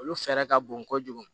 Olu fɛɛrɛ ka bon kojugu